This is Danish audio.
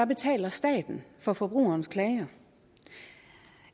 betaler staten for forbrugerens klager